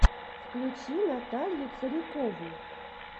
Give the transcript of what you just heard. включи наталью царикову